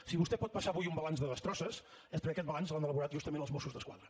si vostè pot passar avui un balanç de destrosses és perquè aquest balanç l’han elaborat justament els mossos d’esquadra